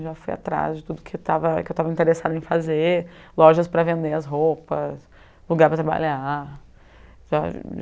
Já fui atrás de tudo que eu estava que eu estava interessada em fazer, lojas para vender as roupas, lugar para trabalhar, sabe?